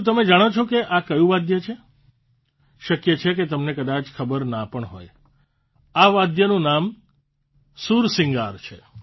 શું તમે જાણો છો કે આ ક્યું વાદ્ય છે શક્ય છે કે તમને કદાય ખબર ના પણ હોય આ વાદ્યનું નામ સુરસિંગાર છે